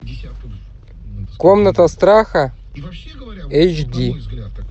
комната страха эйч ди